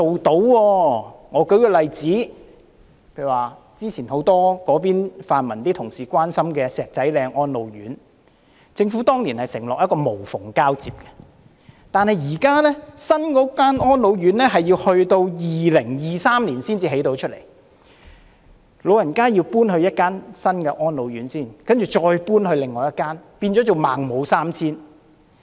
讓我舉一個例子，就早前很多泛民同事關心的石仔嶺安老院，政府當年承諾會無縫交接，但是，現時新的安老院舍大樓要到2023年才能落成，老人家要先搬到另一間安老院，之後再搬到另一間，仿如"孟母三遷"。